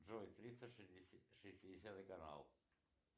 джой триста шестидесятый канал